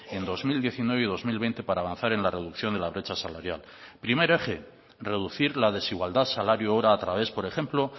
en dos mil diecinueve y dos mil veinte para avanzar en la reducción de la brecha salarial primer eje reducir la desigualdad salario hora a través por ejemplo